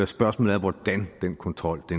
spørgsmålet er hvordan den kontrol